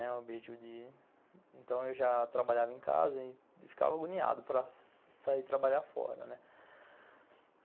Então, eu já trabalhava em casa e ficava agoniado para sair trabalhar fora, né.